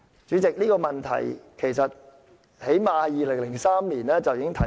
主席，這個問題最少已在2003年提出。